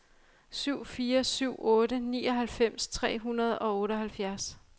syv fire syv otte nioghalvfems tre hundrede og otteoghalvfjerds